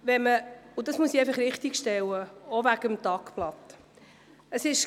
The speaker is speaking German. Das muss ich auch hinsichtlich des Tagblatts richtigstellen.